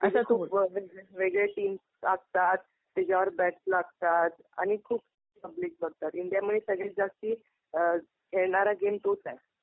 खुप वेगवेगळे टीम्स असतात. तिच्यावर बेट्स लागतात. आणि खूप पब्लिक बघतात. इंडियामध्ये सगळ्यात जास्ती खेळणारा गेम तोच आहे.